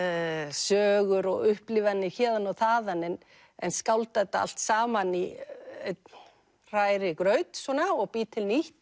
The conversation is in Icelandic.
sögur og upplifanir héðan og þaðan en en skálda þetta allt saman í einn hrærigraut svona og bý til nýtt